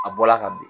A bɔla ka bin